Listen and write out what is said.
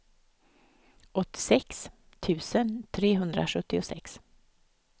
åttiosex tusen trehundrasjuttiosex